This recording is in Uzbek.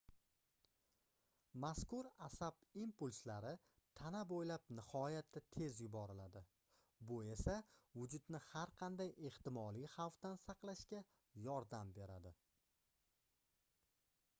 mazkur asab impulslari tana boʻylab nihoyatda tez yuboriladi bu esa vujudni har qanday ehtimoliy xvafdan saqlashga yordam beradi